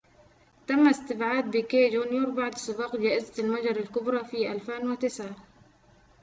تم استبعاد بيكيه جونيور بعد سباق جائزة المجر الكبرى في 2009